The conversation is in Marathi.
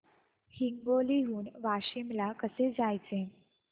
हिंगोली हून वाशीम ला कसे जायचे